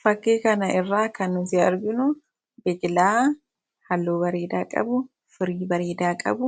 Fakkii kanarraa kan nuti arginu biqilaa halluu bareedaa qabu